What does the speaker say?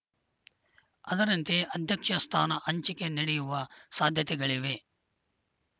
ಅದರಂತೆ ಅಧ್ಯಕ್ಷ ಸ್ಥಾನ ಹಂಚಿಕೆ ನಡೆಯುವ ಸಾಧ್ಯತೆಗಳಿವೆ